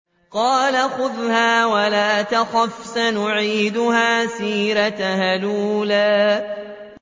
قَالَ خُذْهَا وَلَا تَخَفْ ۖ سَنُعِيدُهَا سِيرَتَهَا الْأُولَىٰ